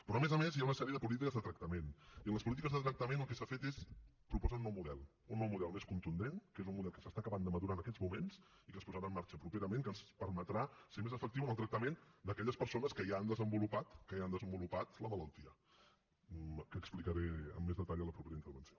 però a més a més hi ha una sèrie de polítiques de tractament i en les polítiques de tractament el que s’ha fet és proposar un nou model un nou model més contundent que és un model que s’està acabant de madurar en aquests moments i que es posarà en marxa properament que ens permetrà ser més efectius en el tractament d’aquelles persones que ja han desenvolupat que ja han desenvolupat la malaltia que explicaré amb més detall a la propera intervenció